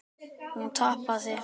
Hún tapaði.